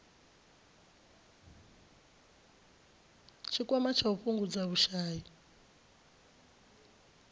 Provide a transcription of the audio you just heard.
tshikwama tsha u fhungudza vhushai